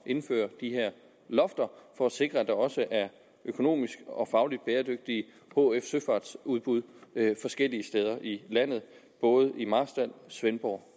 indføre de her lofter for at sikre at der også er økonomisk og faglig bæredygtige hf søfartsudbud forskellige steder i landet både i marstal svendborg